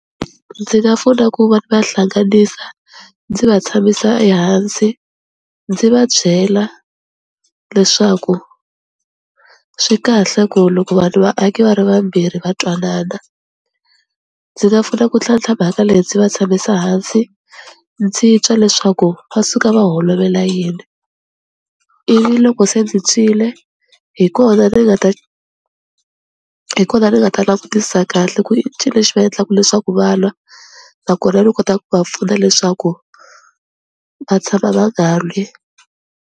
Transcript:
Ndzi nga pfuna ku va va hlanganisa ndzi va tshamisa ehansi ndzi va byela leswaku swi kahle ku loko vanhu vaaki va ri vambirhi va twanana, ndzi nga pfuna ku tlhantlha mhaka leyi ndzi va tshamisa hansi ndzi twa leswaku va suka va holovela yini ivi loko se ndzi twile hi kona ni nga ta hi kona ni nga ta langutisa kahle ku i ncini lexi va endlaka leswaku va lwa nakona ni kota ku va pfuna leswaku va tshama va nga lwi.